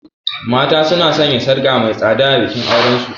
Mata suna sanya sarka mai tsada a bikin auren su.